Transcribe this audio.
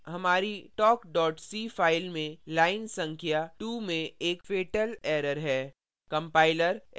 हम देखते हैं कि हमारी talk c fatal में line संख्या 2 में एक fatal error है